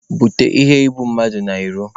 Bupute iheibummadụ n'ilo!